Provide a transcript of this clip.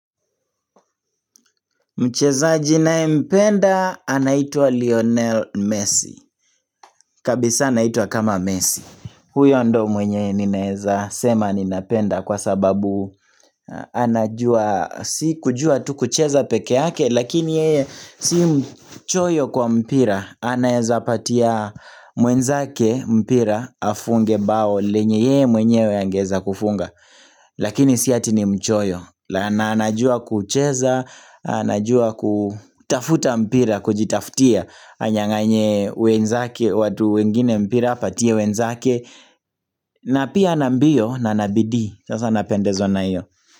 Mchezaji naye mpenda anaitwa Lionel Messi. Kabisa anaitwa kama Messi. Huyo ndo mwenye ninaeza sema ninapenda kwa sababu anajua si kujua tu kucheza peke yake lakini yeye si mchoyo kwa mpira. Anayeza patia mwenzake mpira afunge bao lenye yeye mwenyewe angeza kufunga. Lakini si ati ni mchoyo na anajua kucheza anajua kutafuta mpira Kujitafutia Anyanganye wenzake watu wengine mpira apatie wenzake na pia ana mbio na ana bidii sasa napendezwa na iyo.